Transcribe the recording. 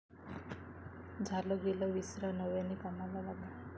झालं गेलं विसरा नव्याने कामाला लागा'